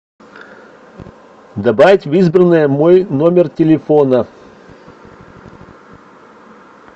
добавить в избранное мой номер телефона